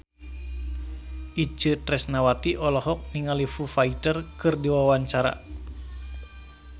Itje Tresnawati olohok ningali Foo Fighter keur diwawancara